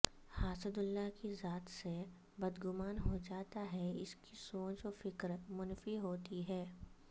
حاسد اللہ کی ذات سے بدگمان ہوجاتا ہے اسکی سوچ وفکر منفی ہوتی ہے